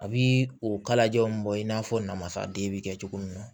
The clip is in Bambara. A bi o kalajaw bɔ in n'a fɔ namasaden bɛ kɛ cogo min na